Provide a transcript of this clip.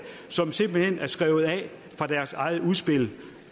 som simpelt hen er skrevet af fra deres eget udspil